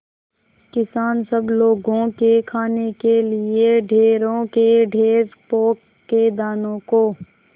किसान सब लोगों के खाने के लिए ढेरों के ढेर पोंख के दानों को